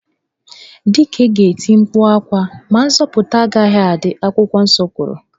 Dike ga-eti mkpu ákwà ma nzọputa agaghị adị, akwụkwọ nsọ kwuru